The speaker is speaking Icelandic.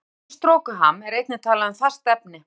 Þegar efni er í storkuham er einnig talað um fast efni.